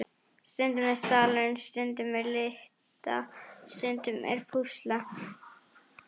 Stundum er salurinn, stundum er lita, stundum er púsla.